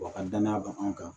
Wa a ka danaya b'an kan